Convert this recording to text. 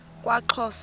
kwaxhosa